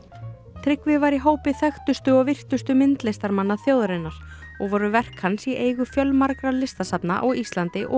Tryggvi var í hópi þekktustu og virtustu myndlistarmanna þjóðarinnar og voru verk hans í eigu fjölmargra listasafna á Íslandi og